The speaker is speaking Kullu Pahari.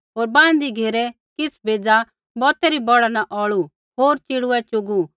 होर बाँहदी घेरै किछ़ बेज़ा बौतै री बौढ़ा न औल़ू होर च़िड़ूऐ च़ुगू